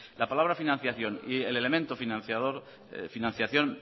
la palabra financiación y el elemento financiación